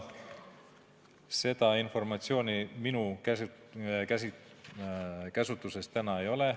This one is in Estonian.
Seda informatsiooni minu käsutuses täna ei ole.